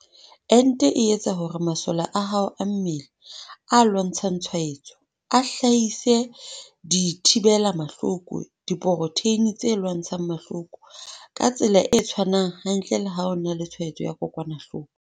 Ente e etsa hore masole a hao a mmele, a lwantshang tshwaetso, a hlahise dithi bela mahloko, diporotheine tse lwantshang mahloko, - ka tsela e tshwanang hantle le ha o na le tshwaetso ya kokwanahloko.